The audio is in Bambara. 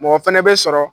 Mɔgɔ fana bɛ sɔrɔ